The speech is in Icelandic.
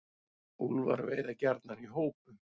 Úlfar veiða gjarnan í hópum.